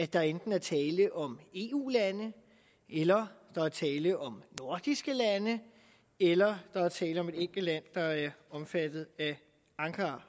der enten er tale om eu lande eller der er tale om nordiske lande eller der er tale om et enkelt land der er omfattet af ankara